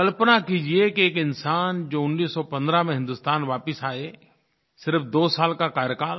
कल्पना कीजिए कि एक इंसान जो 1915 में हिन्दुस्तान वापस आए सिर्फ़ दो साल का कार्यकाल